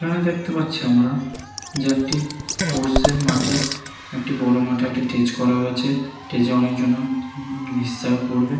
এখানে দেখতে পাচ্ছি আমরা যে একটি পোর্স এর মাঠে একটি বড় মাপের স্টেজ করা হয়েছে স্টেজ এ অনেক জন্য হিস্যা করবে।